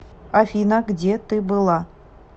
афина где ты была